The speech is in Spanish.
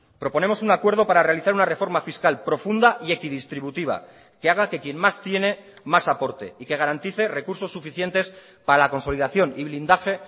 proponemos un acuerdo para realizar una reforma fiscal profunda y equidistributiva que haga que quién más tiene más aporte y que garantice recursos suficientes para la consolidación y blindaje